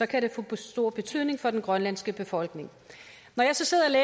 kan det få stor betydning for den grønlandske befolkning når jeg så sidder